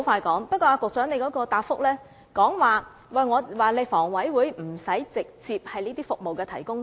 局長在主體答覆中表示，房委會不須是康樂設施的直接提供者。